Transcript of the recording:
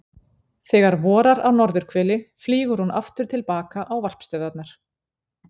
þegar vorar á norðurhveli flýgur hún aftur til baka á varpstöðvarnar